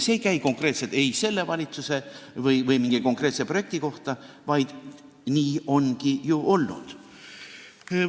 See ei käi konkreetselt selle valitsuse või mingi konkreetse projekti kohta, vaid nii ongi ju olnud.